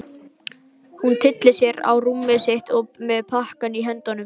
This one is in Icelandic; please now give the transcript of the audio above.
Hún tyllir sér á rúmið sitt með pakkann í höndunum.